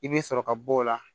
I bɛ sɔrɔ ka bɔ o la